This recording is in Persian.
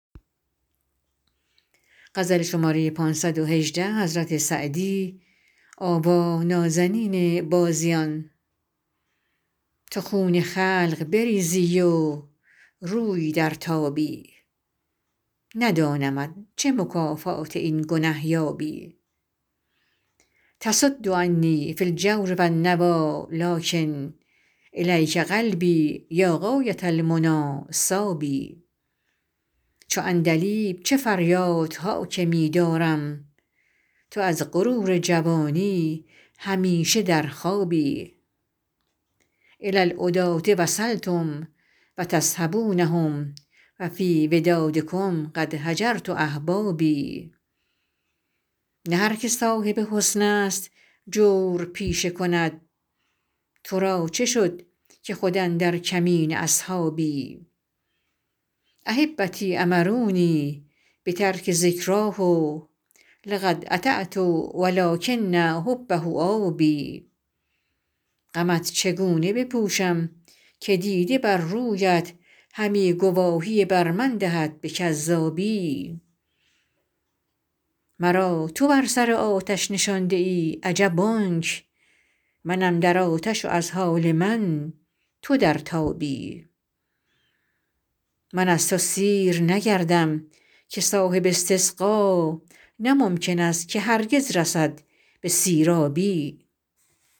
تو خون خلق بریزی و روی درتابی ندانمت چه مکافات این گنه یابی تصد عنی فی الجور و النویٰ لٰکن إلیک قلبی یا غایة المنیٰ صاب چو عندلیب چه فریادها که می دارم تو از غرور جوانی همیشه در خوابی إلی العداة وصلتم و تصحبونهم و فی ودادکم قد هجرت أحبابی نه هر که صاحب حسن است جور پیشه کند تو را چه شد که خود اندر کمین اصحابی أحبتی أمرونی بترک ذکراه لقد أطعت و لٰکن حبه آب غمت چگونه بپوشم که دیده بر رویت همی گواهی بر من دهد به کذابی مرا تو بر سر آتش نشانده ای عجب آنک منم در آتش و از حال من تو در تابی من از تو سیر نگردم که صاحب استسقا نه ممکن است که هرگز رسد به سیرابی